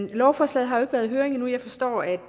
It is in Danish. lovforslaget har jo ikke været i høring endnu jeg forstår at